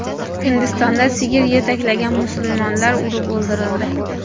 Hindistonda sigir yetaklagan musulmon urib o‘ldirildi.